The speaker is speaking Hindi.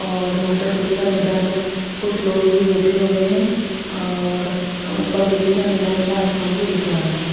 और यहा पे देखिएगा मैदान में कुछ लोग भी बेठे हुए है और उपर देखिएगा नीला नीला आसमान भी दिख रहा है।